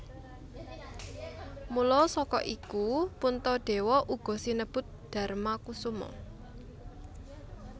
Mula saka iku Puntadewa uga sinebut Darmakusuma